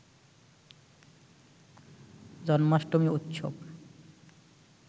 জন্মাষ্টমী উৎসব